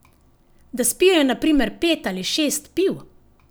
Da spijejo na primer pet ali šest piv.